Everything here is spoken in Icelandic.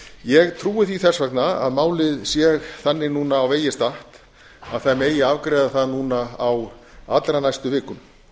ég trúi því þess vegna að málið sé þannig núna á vegi statt að það megi afgreiða það núna á allra næstu vikum